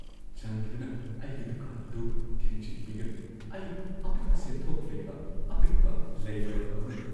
ꯆꯥꯟꯕꯤꯗꯨꯅ ꯑꯩꯒꯤ ꯗꯨꯀꯥꯟ ꯑꯗꯨ ꯊꯤꯡꯖꯤꯟꯕꯤꯒꯅꯨ꯫ ꯑꯩ ꯑꯄꯤꯛꯄ ꯁꯦꯟꯊꯣꯛ ꯂꯩꯕ ꯑꯄꯤꯛꯄ ꯂꯩ ꯌꯣꯟꯕ ꯑꯃꯅꯤ꯫